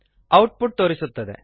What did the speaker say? out ಪುಟ್ ತೋರಿಸುತ್ತದೆ